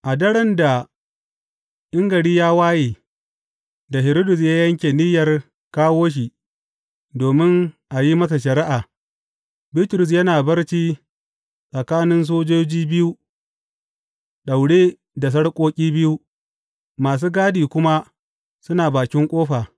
A daren da in gari ya waye da Hiridus yake niyyar kawo shi domin a yi masa shari’a, Bitrus yana barci tsakanin sojoji biyu, daure da sarƙoƙi biyu, masu gadi kuma suna bakin ƙofa.